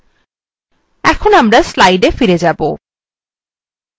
এখন আমরা slides we আবার ফিরে যাব